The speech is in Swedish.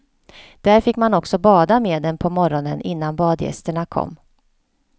Där fick man också bada med dem på morgonen innan badgästerna kom.